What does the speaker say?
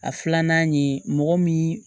A filanan ye mɔgɔ min